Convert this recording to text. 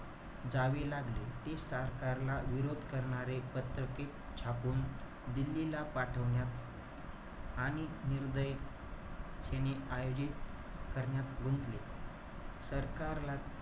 जावी लागले. ते सरकारला विरोध करणारे पत्रके छापून, दिल्लीला पाठवण्यात आणि निर्भयतेने आयोजित करण्यात गुंतले. सरकारला,